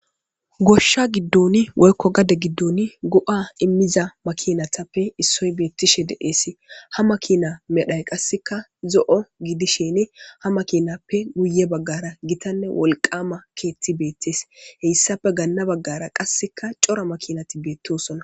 Goshsha giddoni woykko gade giddon go'a immiza makinatappe issoy beettishe deeesi ha makina medhay qasseka zo'o gidisheni ha makinappe guye baggara gitanne wolqama keetti beettees heyssapfe ganna baggara qasseka cora makinati beettosonna.